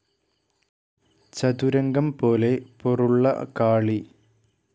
ചതുരംഗം പോലെ പൊറുള്ള കാളി.